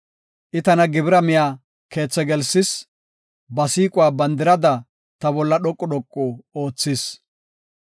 I tana gibira miya keethi gelsis; ba siiquwa bandirada ta bolla dhoqu dhoqu oothis.